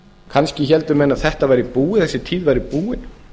kannski héldu menn að þessi tíð væri búin